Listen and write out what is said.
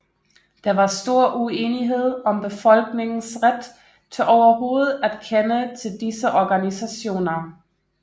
Der var stor uenighed om befolkningens ret til overhovedet at kende til disse organisationer